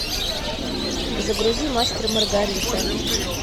загрузи мастер и маргарита